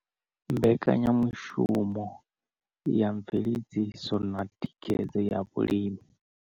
Mbekanya mushumo ya Mveledziso na Thikhedzo ya Vhalimi.